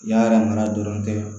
Yala mana dɔrɔn kɛ